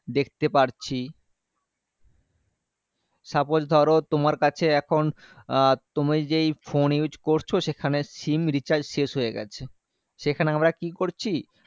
দেখতে পারছি suppose ধরো তোমার কাছে এখন আ তুমি যেই phone use করছো সেখানে sim recharge শেষ হয়ে গেছে সেখানে আমরা কি করছি